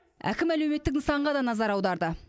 әкім әлеуметтік нысанға да назар аударды